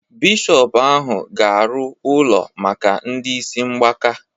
Bishọpu ahụ ga-arụ ụlọ maka ndị isi mgbaka